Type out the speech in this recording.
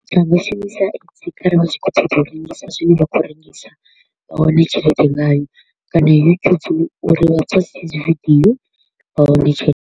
Vha nga shumisa X kharali vha tshi kho u ṱoḓa u rengisa zwine vha kho u rengisa, vha wane tshelede ngayo kana YouTube uri vha poste dzi video vha wane tshelede.